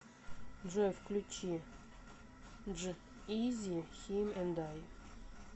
джой включи дж изи хим энд ай